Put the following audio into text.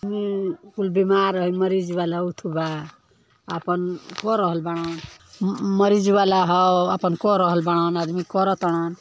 उ कुल बीमार ह मरीज बा बा आपन कर रहल बानन मरीज वाला ह आपन कर रहल बानन आदमी करतारन --